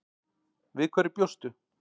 Við hverju bjóstu?